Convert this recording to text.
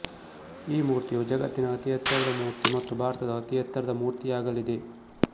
ಈ ಮೂರ್ತಿಯು ಜಗತ್ತಿನ ಅತಿ ಎತ್ತರದ ಮೂರ್ತಿ ಮತ್ತು ಭಾರತದ ಅತಿ ಎತ್ತರದ ಮೂರ್ತಿಯಾಗಲಿದೆ